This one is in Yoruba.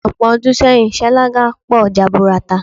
Ò̩pò̩ o̩dún sé̩yìn, sáláńgá po̩ jaburata.